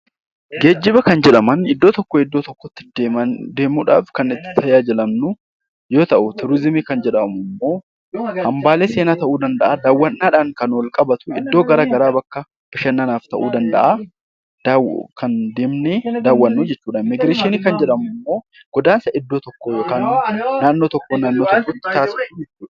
Geejjiba kan jedhaman iddoo tokkoo iddoo tokkotti deemuudhaaf kan itti tajaajilamnu yoo ta'u, turizimii kan jennu hambaalee seenaa ta'uu danda'a . Iddoowwan garaagaraa kanneen akka bashannanaaf ta'uu danda'an kan deemnee daawwannu jechuudha. Immiigireeshinii kan jedhamu immoo godaansa iddoo tokkoo gara biraatti taasifamu jechuudha